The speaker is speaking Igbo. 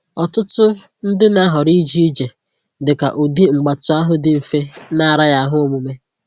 Ọtụtụ ndị na-ahọrọ ije ije dị ka ụdị mgbatị ahụ dị mfe na araghị ahụ omume